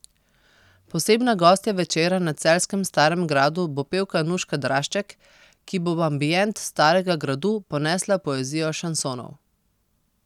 Posebna gostja večera na celjskem Starem gradu bo pevka Nuška Drašček, ki bo v ambient Starega gradu ponesla poezijo šansonov.